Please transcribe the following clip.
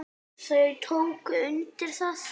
Þau tóku undir það.